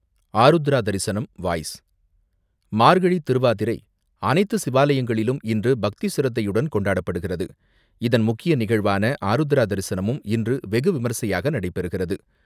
Arudra Darisanam voice, Margazhi Thiruvathirai, அனைத்து சிவாலயங்களிலும் இன்று பக்தி சிறப்புடன் கொண்டாடப்படுகிறது. இதன் முக்கிய நிகழ்வான ஆருத்ரா தரிசனமும் இன்று வெகுவிமர்சையாக நடைபெறுகிறது.